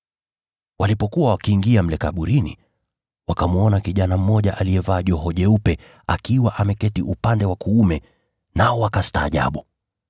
Walipokuwa wakiingia mle kaburini, wakamwona kijana mmoja aliyevaa joho jeupe akiwa ameketi upande wa kuume, nao wakastaajabu.